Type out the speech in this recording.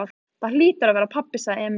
Það hlýtur að vera pabbi, sagði Emil.